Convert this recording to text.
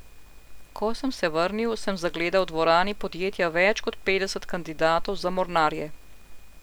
Ko sem se vrnil, sem zagledal v dvorani podjetja več kot petdeset kandidatov za mornarje.